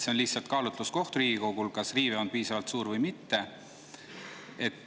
See on lihtsalt Riigikogu kaalutluskoht, kas riive on piisavalt suur või mitte.